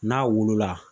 N'a wolo la